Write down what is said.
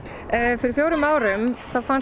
fyrir fjórum árum fannst